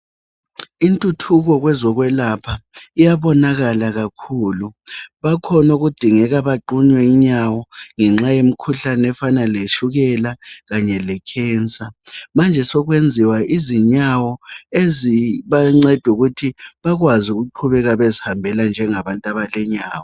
intuthuko kwezokwelapha iyabonakala kakhulu bakhona okudingeka baqunywe inyawo ngenxa yemikhuhlane efana letshukela kanye le cancer manje sekwenziwa izinyawo ezibanceda ukuthi bakwazi ukuqhubeka bezihambela njengabantu abalenyawo